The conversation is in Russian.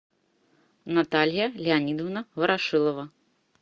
наталья леонидовна ворошилова